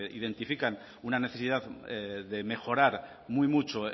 identifican una necesidad de mejorar muy mucho